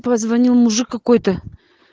позвонил мужик какой-то